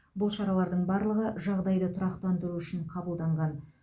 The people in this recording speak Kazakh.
бұл шаралардың барлығы жағдайды тұрақтандыру үшін қабылданған